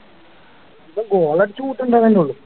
ഇവൻ goal അടിച്ച് കൂട്ടണുണ്ട് എന്നല്ലേള്ളൂ